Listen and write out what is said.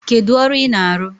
Kedu ọrụ ị na-arụ?